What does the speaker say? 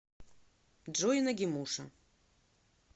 джой нагимуша